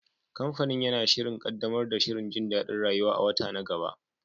Kamfanin yana shirin ƙaddamar da shirin jin daɗin rayuwa a wata na gaba.